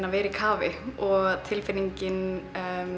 að vera í kafi og tilfinningin